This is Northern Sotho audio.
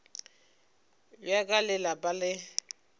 bja ka le lapa le